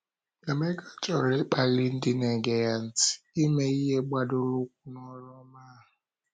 Emeka chọrọ ịkpali ndị na - ege ya ntị, ịme ihe gbadoro ụkwụ n’oru ọma ahụ.